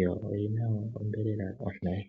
yo oyi na onyama ontoye.